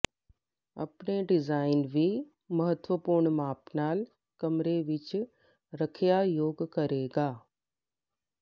ਆਪਣੇ ਡਿਜ਼ਾਈਨ ਵੀ ਮਹੱਤਵਪੂਰਨ ਮਾਪ ਨਾਲ ਕਮਰੇ ਵਿੱਚ ਰੱਖਿਆ ਯੋਗ ਕਰੇਗਾ